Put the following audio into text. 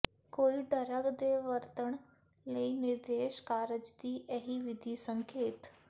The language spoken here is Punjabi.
ਕੋਈ ਡਰੱਗ ਦੇ ਵਰਤਣ ਲਈ ਨਿਰਦੇਸ਼ ਕਾਰਜ ਦੀ ਇਹੀ ਵਿਧੀ ਸੰਕੇਤ